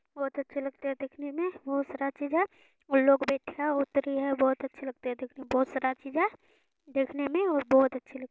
बहुत अच्छा लगता है देखने में बहुत सारा चीज़ है | उनलोग बहुत अच्छे लगते हैं देखने में बहुत सारा चीज़ है देखने में और बहुत अच्छा लगता है।